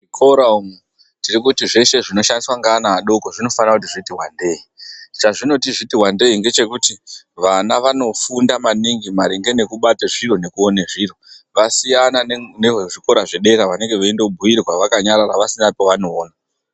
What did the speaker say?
Muzvikora umu tiri kuti zveshe zvinoshandiswa ngeana adoko zvinofanika kuti zviti wandei, chezvinoti zviti wandei ngechekuti vana vanofunda maningi maringe ngekubata zviro nekuone zviro, zvasiyana nevezvikora zvedera vanenge veindobhuirwa vakanyarara vasina pevanoona.